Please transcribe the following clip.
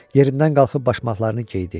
Yerindən qalxıb başmaqlarını geydi.